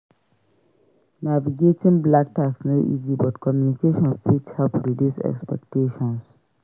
Navigating black tax no easy but communication fit help reduce expectations.